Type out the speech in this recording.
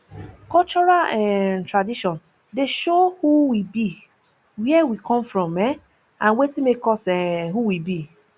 cultural um tradition dey show who we be where we come from um and wetin make us um who we be